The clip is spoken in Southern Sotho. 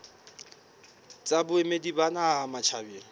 tsa boemedi ba naha matjhabeng